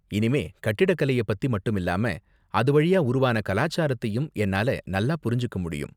இனிமே கட்டிடக்கலைய பத்தி மட்டும் இல்லாம அது வழியா உருவான கலாச்சாரத்தையும் என்னால நல்லா புரிஞ்சுக்க முடியும்.